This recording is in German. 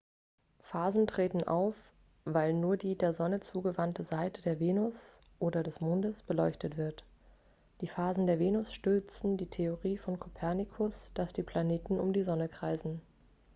phasen treten auf weil nur die der sonne zugewandte seite der venus oder des mondes beleuchtet wird. die phasen der venus stützen die theorie von kopernikus dass die planeten um die sonne kreisen